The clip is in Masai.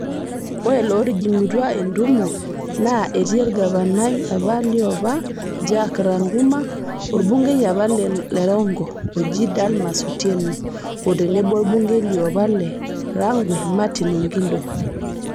Ore lootijingutua entimo naa etii olgavanai apa liopaa Jack Ranguma, olbungei apa le Rongo oji Dalmas Otieno, otenebo olbungei liopa le Rangwe Martin Ogindo.